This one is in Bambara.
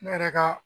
Ne yɛrɛ ka